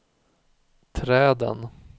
träden